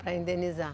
Para indenizar?